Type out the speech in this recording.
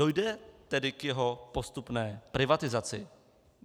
Dojde tedy k jeho postupné privatizaci.